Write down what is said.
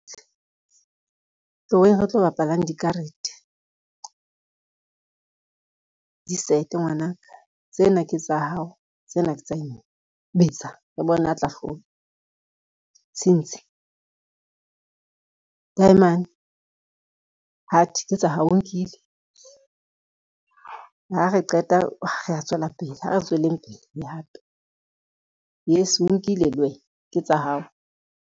Tloweng re tlo bapalang dikarete. Disete ngwana ka, tsena ke tsa hao, tsena ke tsa . Betsa, re bone a tla hlola tshintshi, taeman, heart ke tsa hao o nkile. Ha re qeta re tswela pele, ha re tswele pele le hape. Yes o nkile le wena ke tsa hao.